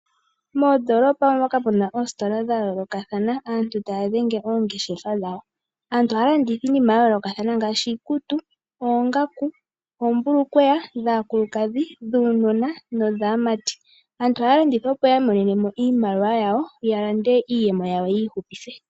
Moondoolopa omo moka mu na oositola dha yoolokathana aantu taya dhenge oongeshefa dhawo. Aantu ohaya landitha iinima ya yoolokathana ngaashi iikutu, oongaku, oombulukweya dhaakulukadhi, dhuunona nodhaamati. Aantu ohaya landitha opo yi imonene mo iimaliwa yawo, ya lande iiyemo yawo yo yi ihupithe.